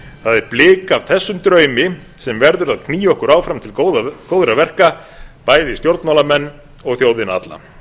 það er blik af þessum draumi sem verður að knýja okkur áfram til góðra verka bæði stjórnmálamenn og þjóðina alla